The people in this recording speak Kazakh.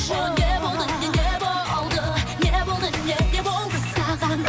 ол не болды не не болды не болды не не болды саған